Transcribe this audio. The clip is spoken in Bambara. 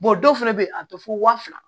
dɔw fɛnɛ be yen a be fɔ waa fila